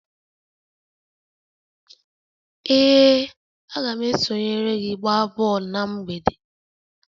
Ee, a ga m esonyere gị gbaa bọọlụ na mgbede